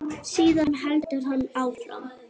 Síðan heldur hann áfram.